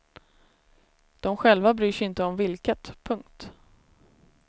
De själva bryr sig inte om vilket. punkt